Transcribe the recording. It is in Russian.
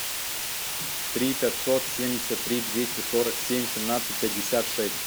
три пятьсот семьдесят три двести сорок семь семнадцать пятьдесят шесть